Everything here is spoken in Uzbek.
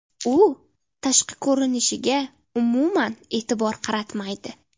U tashqi ko‘rinishiga umuman e’tibor qaratmaydi.